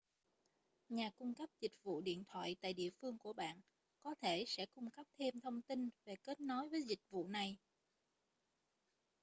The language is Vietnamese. nhà cung cấp dịch vụ điện thoại tại địa phương của bạn có thể sẽ cung cấp thêm thông tin về kết nối với dịch vụ này